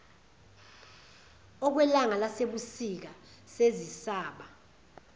okwelanga lasebusika sezisaba